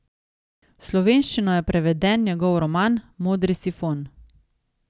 V slovenščino je preveden njegov roman Modri sifon.